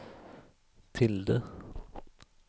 tilde